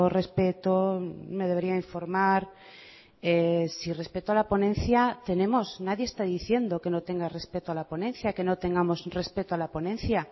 respeto me debería informar si respeto a la ponencia tenemos nadie está diciendo que no tenga respeto a la ponencia que no tengamos respeto a la ponencia